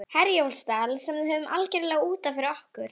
Efnt til heræfinga og sprengt púðurkerlingar?